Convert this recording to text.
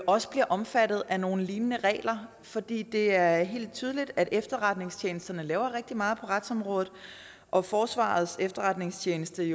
også bliver omfattet af nogle lignende regler for det er helt tydeligt at efterretningstjenesterne laver rigtig meget på retsområdet og forsvarets efterretningstjeneste er